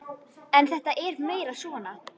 En þetta er meira svona.